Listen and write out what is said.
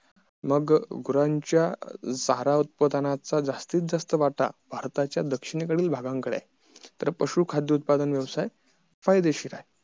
मग गुरांच्या चारा उत्पदानच्या जास्तीत जास्त वाटा भारताच्या दक्षिण कडील भागांकडे आहे तर पशु खाद्य उत्पादन व्यवसाय फायदेशीर आहे